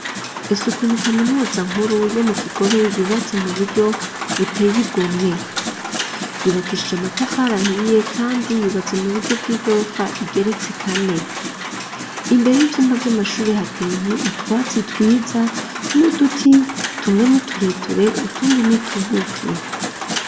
Ese ukuntu kaminuza nkuru yo mu Kigobe yubatse mu buryo buteye igomwe. Yubakishije amatafarI ahiye kandi yubatse mu buryo bw'igorofa igeretse kane. Imbere y'ivyumba vy'amashure hateye utwatsi twiza n'uduti, tumwe ni tureture, utundi ni tugufi.